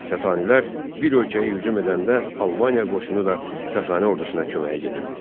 Sasanilər bir ölkəyə hücum edəndə Albaniya qoşunu da Sasani ordusuna köməyə gedirdi.